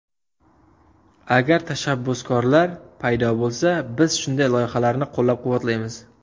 Agar tashabbuskorlar paydo bo‘lsa, biz shunday loyihalarni qo‘llab-quvvatlaymiz.